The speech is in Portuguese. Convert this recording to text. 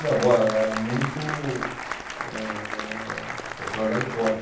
Minha avó era muito, eh personalidade forte.